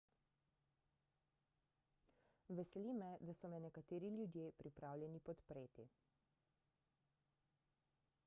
veseli me da so me nekateri ljudje pripravljeni podpreti